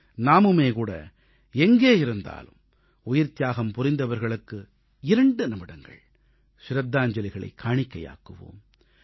நாமும் கூட எங்கே இருந்தாலும் உயிர்த்தியாகம் புரிந்தவர்களுக்கு 2 நிமிடங்கள் சிரத்தாஞ்சலிகளைக் காணிக்கையாக்குவோம்